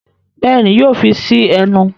Béèni yóò fí sí ẹnu.